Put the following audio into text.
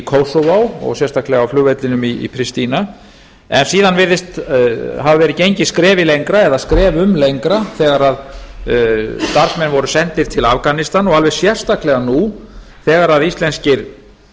kosovo og sérstaklega á flugvellinum í pristina síðan virðist hafa verið gengið skrefi lengra eða skrefum lengra þegar að starfsmenn voru sendir til afganistan og alveg sérstaklega nú þegar að íslenskir